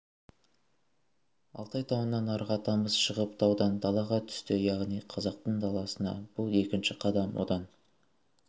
алтай тауынан арғы атамыз шығып таудан далаға түсті яғни қазақтың даласына бұл екінші қадам одан